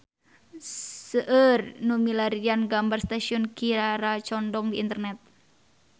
Seueur nu milarian gambar Stasiun Kiara Condong di internet